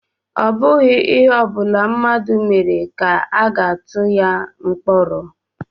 Ọ bụghị ihe ọbula mmadụ mere ka a ga-atu ya mkpọrọ